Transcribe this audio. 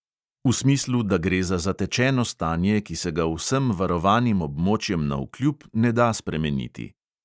V smislu, da gre za zatečeno stanje, ki se ga vsem varovanim območjem navkljub ne da spremeniti.